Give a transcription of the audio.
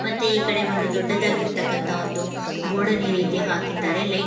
ಮತ್ತೆ ಈ ಕಡೆ ಒಂದು ದೊಡ್ಡದಾಗಿರ್ತಕ್ಕಂತಹ ಒಂದು ರೀತಿ ಹಾಕಿದ್ದಾರೆ--